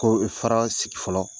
Ko faraa sigi fɔlɔ.